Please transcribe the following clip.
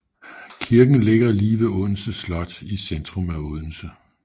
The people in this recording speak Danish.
Kirken ligger lige ved Odense Slot i centrum af Odense